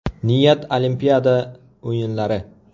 Niyat Olimpiada o‘yinlari.